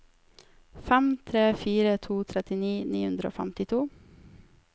fem tre fire to tretti ni hundre og femtito